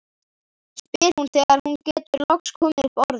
spyr hún þegar hún getur loks komið upp orði.